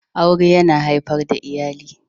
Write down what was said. Aure yana haifar da iyali